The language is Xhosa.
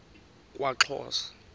kwaxhosa